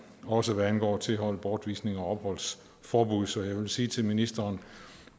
og også hvad angår tilhold bortvisning og opholdsforbud så jeg vil sige til ministeren